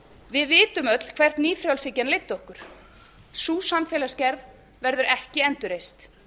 við vitum öll hvert nýfrjálshyggjan leiddi okkur sú samfélagsgerð verður ekki endurreist